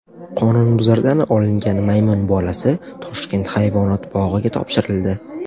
Qonunbuzardan olingan maymun bolasi Toshkent hayvonot bog‘iga topshirildi.